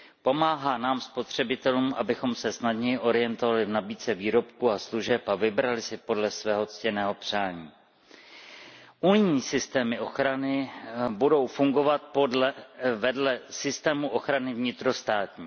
Pomáhá nám spotřebitelům, abychom se snadněji orientovali v nabídce výrobků a služeb a vybrali si podle svého ctěného přání. Unijní systémy ochrany budou fungovat vedle systému ochrany vnitrostátní.